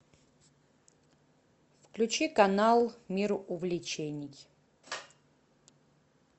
включи канал мир увлечений